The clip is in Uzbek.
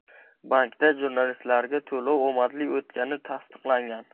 Bankda jurnalistlarga to‘lov omadli o‘tgani tasdiqlangan.